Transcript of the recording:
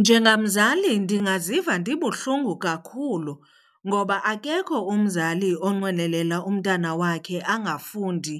Njengamzali ndingaziva ndibuhlungu kakhulu ngoba akekho umzali onqwenelela umntana wakhe angafundi,